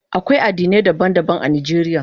Akwai addinai daban-daban a Najeriya.